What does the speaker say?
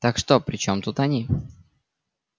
так что при чём тут они